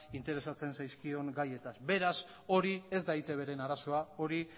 interesatzen zaizkion gaiez beraz hori ez da eitbren arazoa hori